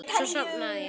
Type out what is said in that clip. Svo sofnaði ég.